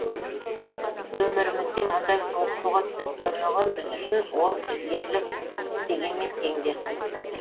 өмірімізде мұндай суық суға түсіп көрмеген біз үшін ол бір ерлік істегенмен тең дерсіз